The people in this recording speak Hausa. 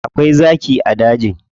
Akwai zaki a dajin.